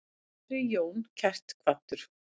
Veri Jón kært kvaddur.